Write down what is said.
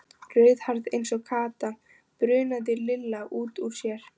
Rauðhærð eins og Kata, bunaði Lilla út úr sér.